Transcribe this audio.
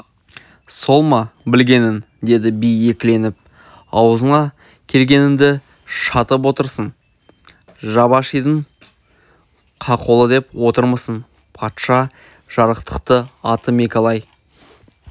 сол ма білгенің деді би екіленіп аузыңа келгеніңді шатып отырсың шабашидың қақолы деп отырмысың патша жарықтықты аты мекалай